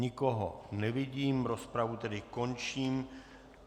Nikoho nevidím, rozpravu tedy končím.